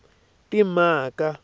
timhaka